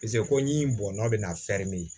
ko ɲi bɔn bɛna